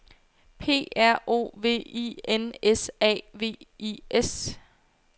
P R O V I N S A V I S